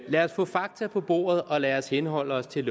lad os få fakta på bordet og lad os henholde os til